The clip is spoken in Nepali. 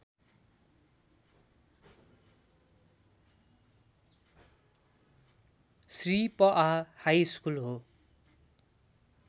श्री पआ हाइस्कुल हो